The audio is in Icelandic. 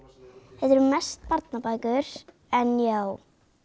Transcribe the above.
þetta eru mest barnabækur en já